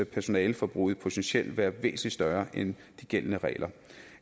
personaleforbruget potentielt være væsentlig større end de gældende regler